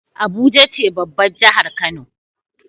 abuja ce babbar jahar kano